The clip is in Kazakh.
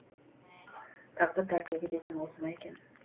тағдыр тәлкегі деген осы ма екен